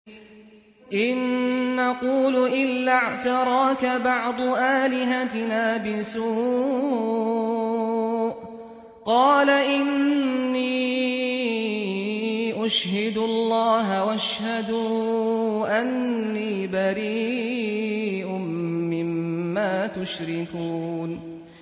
إِن نَّقُولُ إِلَّا اعْتَرَاكَ بَعْضُ آلِهَتِنَا بِسُوءٍ ۗ قَالَ إِنِّي أُشْهِدُ اللَّهَ وَاشْهَدُوا أَنِّي بَرِيءٌ مِّمَّا تُشْرِكُونَ